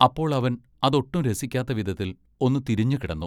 അപ്പോൾ അവൻ അതൊട്ടും രസിക്കാത്ത വിധത്തിൽ ഒന്നു തിരിഞ്ഞുകിടന്നു.